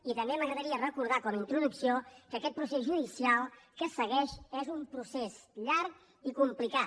i també m’agradaria recordar com a introducció que aquest procés judicial que es segueix es un procés llarg i complicat